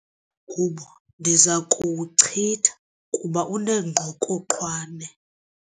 Lo mgubo ndiza kuwuchitha kuba unengqokoqwane.